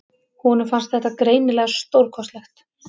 Honum fannst þetta greinilega stórkostlegt.